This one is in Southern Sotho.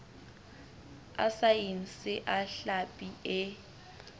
a saense a hlapi e